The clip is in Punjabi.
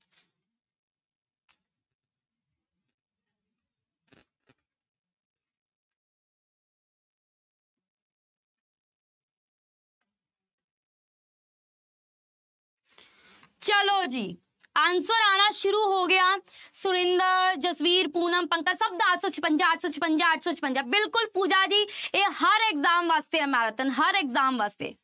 ਚਲੋ ਜੀ answer ਆਉਣਾ ਸ਼ੁਰੂ ਹੋ ਗਿਆ ਸੁਰਿੰਦਰ, ਜਸਵੀਰ, ਪੂਨਮ, ਪੰਕਜ ਸਭ ਦਾ answer ਛਪੰਜਾ ਅੱਠ ਸੌ, ਛਪੰਜਾ ਅੱਠ ਸੌ, ਛਪੰਜਾ ਬਿਲਕੁਲ ਪੂਜਾ ਜੀ ਇਹ ਹਰ exam ਵਾਸਤੇ ਹੈ marathon ਹਰ exam ਵਾਸਤੇ।